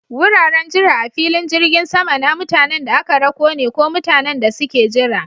Wuraren jira a filin jirgin sama na mutanen da aka rako ne ko mutanen da suke jira.